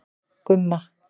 Gumma